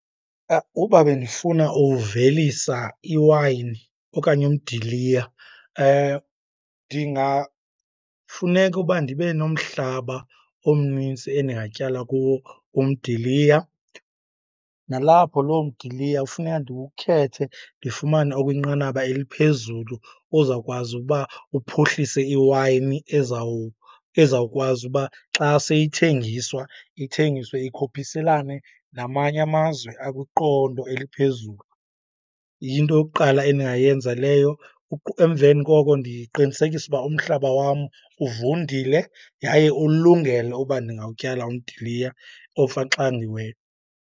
Uba bendifuna uvelisa iwayini okanye umdiliya ndingafuneka uba ndibe nomhlaba omnintsi endingatyala kuwo umdiliya. Nalapho loo mdiliya ufuneka ndiwukhethe, ndifumane okwinqanaba eliphezulu ozawukwazi uba uphuhlise iwayini ezawukwazi uba xa seyithengiswa, ithengiswe ikhuphiselane namanye amazwe akwiqondo eliphezulu. Yinto yokuqala endingayenza leyo , emveni koko ndiqinisekise uba umhlaba wam uvundile yaye uwulungele uba ndingawutyala umdiliya omfaxangiweyo.